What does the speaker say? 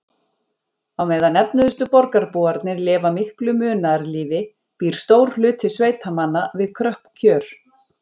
Á meðan efnuðustu borgarbúarnir lifa miklu munaðarlífi býr stór hluti sveitamanna við kröpp kjör.